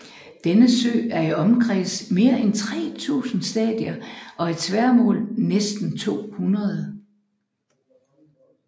Denne sø er i omkreds mere end tre tusinde stadier og i tværmål næsten to hundrede